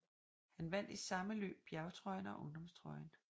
Han vandt i samme løb bjergtrøjen og ungdomstrøjen